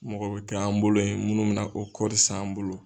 Mɔgɔ bɛ kɛ an bolo yen munnu mɛ na o kɔɔri san an bolo.